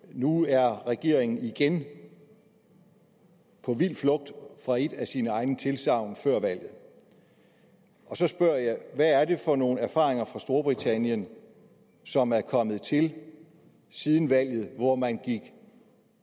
nu er regeringen igen på vild flugt fra et af sine egne tilsagn fra før valget og så spørger jeg hvad er det for nogle erfaringer fra storbritannien som er kommet til siden valget hvor man gik